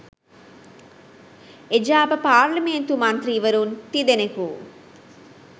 එජාප පාර්ලිමේන්තු මන්ත්‍රීවරුන් තිදෙනකු